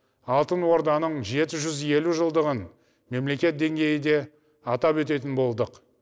алтын орданың жеті жүз елу жылдығын мемлекет деңгейінде атап өтетін болдық